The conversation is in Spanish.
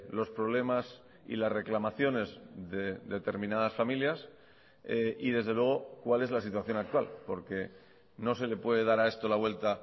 los problemas y las reclamaciones de determinadas familias y desde luego cuál es la situación actual porque no se le puede dar a esto la vuelta